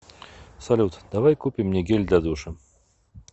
салют давай купим мне гель для душа